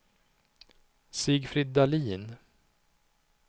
Sigfrid Dahlin